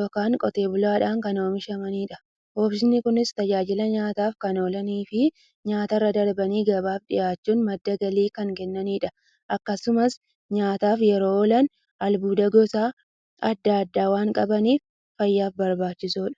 yookiin Qotee bulaadhan kan oomishamaniidha. Oomishni Kunis, tajaajila nyaataf kan oolaniifi nyaatarra darbanii gabaaf dhiyaachuun madda galii kan kennaniidha. Akkasumas nyaataf yeroo oolan, albuuda gosa adda addaa waan qabaniif, fayyaaf barbaachisoodha.